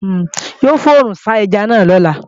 Yóò fòrùnsá ẹja náà lọ́la